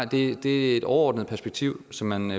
det er et overordnet perspektiv som man